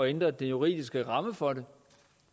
ændre den juridiske ramme for den